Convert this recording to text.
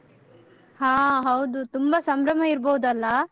ಹಾ ಹೌದು ತುಂಬ ಸಂಭ್ರಮ ಇರ್ಬೋದಲ್ಲಾ?